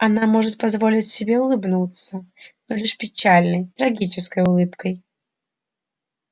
она может позволить себе улыбнуться но лишь печальной трагической улыбкой